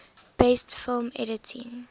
best film editing